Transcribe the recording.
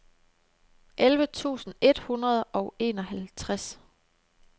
elleve tusind et hundrede og enoghalvtreds